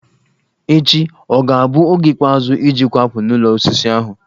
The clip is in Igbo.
Echi ọ ga-abụ oge ikpeazụ iji kwakpuo n'ụlọ osisi ahụ?